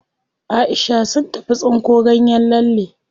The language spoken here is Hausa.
Aisha sun tafi tsinko ganyen lalle.